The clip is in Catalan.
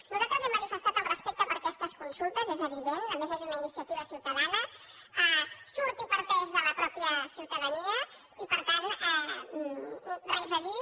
nosaltres hem manifestat el respecte per aquestes consultes és evident a més és una iniciativa ciutadana surt i parteix de la mateixa ciutadania i per tant res a dir